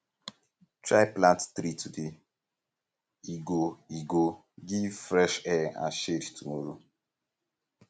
try plant tree today e go e go um give fresh air and shade tomorrow